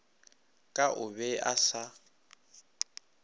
ka o be a se